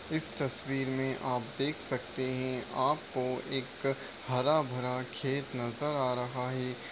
इस तस्वीर में आप देख सकते हैं आपको एक हरा भरा खेत नज़र आ रहा है।